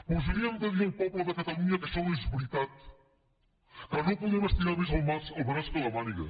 doncs li hem de dir al poble de catalunya que això no és veritat que no podem estirar més el braç que la màniga